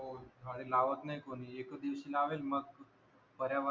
झाडे लावत नाही कोणी एक दिवसी लावेल मग पर्यावरण